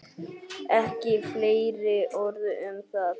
Ekki fleiri orð um það!